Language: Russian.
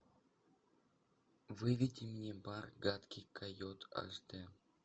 выведи мне бар гадкий койот аш дэ